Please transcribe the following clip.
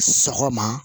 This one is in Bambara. Sɔgɔma